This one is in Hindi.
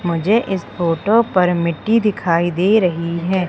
मुझे इस फोटो पर मिट्टी दिखाई दे रही है।